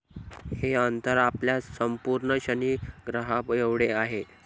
हे अंतर आपल्या संपूर्ण शनि ग्रहाएवढे आहे.